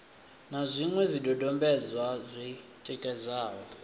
na zwiṅwe zwidodombedzwa zwi tikedzaho